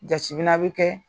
Jatemina bɛ kɛ